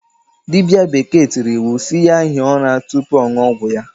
Diba bekee tiri iwu si ya hie ura tupu ọṅụ ọgwụ ya.